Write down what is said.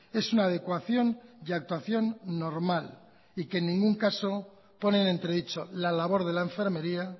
es una adecuación y actuación normal y que en ningún caso pone en entredicho la labor de la enfermería